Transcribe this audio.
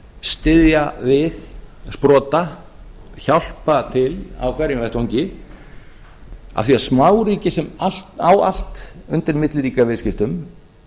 styðja við sprota hjálpa til á hverjum vettvangi af því að smáríki sem á allt undir milliríkjaviðskiptum